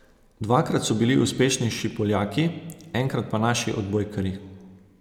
Dvakrat so bili uspešnejši Poljaki, enkrat pa naši odbojkarji.